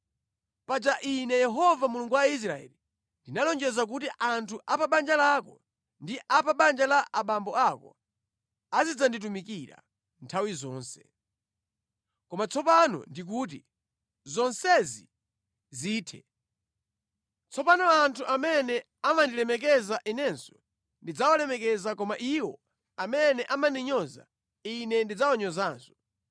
“Paja Ine Yehova Mulungu wa Israeli ‘Ndinalonjeza kuti anthu a pa banja lako ndi a pa banja la abambo ako azidzanditumikira nthawi zonse.’ Koma tsopano ndikuti, ‘Zonsezi zithe!’ Tsopano anthu amene amandilemekeza Inenso ndidzawalemekeza koma iwo amene amandinyoza Ine ndidzawanyoza.